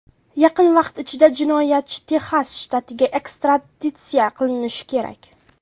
Yaqin vaqt ichida jinoyatchi Texas shtatiga ekstraditsiya qilinishi kerak.